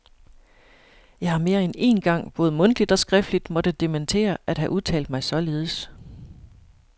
Jeg har mere end én gang både mundtligt og skriftligt måtte dementere at have udtalt mig således.